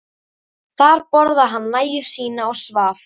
Þar borðaði hann nægju sína og svaf.